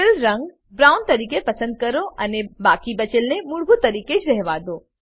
fill રંગ brown તરીકે પસંદ કરો અને બાકી બચેલને મૂળભૂત તરીકે જ રહેવા દો